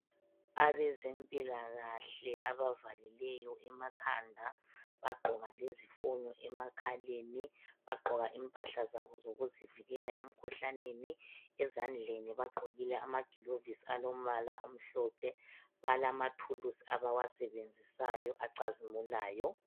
Abezempilakahle abavalileyo emakhanda, bagqoka lezifonyo emakhaleni, bagqoka impahla zabo zokuzivikela emkhuhlaneni ezandleni bagqokile amaglovisi alombala omhlophe balamathulusi abawasebenzisayo acazimulayo.